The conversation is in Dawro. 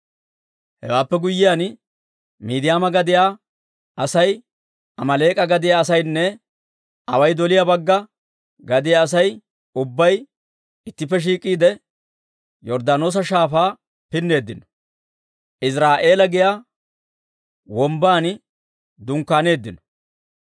Hewaappe guyyiyaan, Miidiyaama gadiyaa asay, Amaaleek'a gadiyaa asaynne away doliyaa bagga gadiyaa Asay ubbay ittippe shiik'iide, Yorddaanoosa Shaafaa pinneeddino; Iziraa'eela giyaa wombban dunkkaaneeddino.